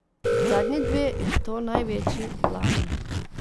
Zadnji dve, in to največji, lani.